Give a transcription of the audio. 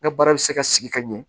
N ka baara bɛ se ka sigi ka ɲɛ